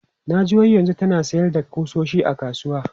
Na ji wai yanzu tana sayar da ƙusoshi a kasuwa.